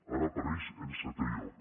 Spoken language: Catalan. ara apareix en setè lloc